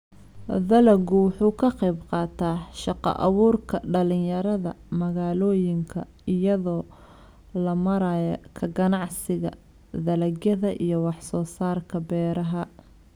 Dalaggu wuxuu ka qayb qaataa shaqo abuurka dhalinyarada magaalooyinka iyadoo loo marayo ka ganacsiga dalagyada iyo wax soo saarka beeraha.